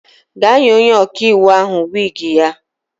Gaa nye onye ọkaiwu ahụ wiigi ya!